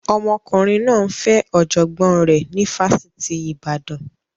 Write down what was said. Ọmọkùnrin náà ń fẹ́ ọ̀jọ̀gbọ́n rẹ̀ ní Fásitì Ibadan